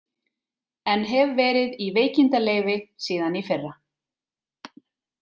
En hef verið í veikindaleyfi síðan í fyrra.